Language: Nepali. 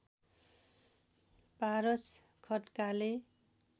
पारस खड्काले